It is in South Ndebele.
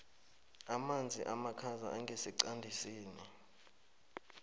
amanzi amakhaza angesiqandisini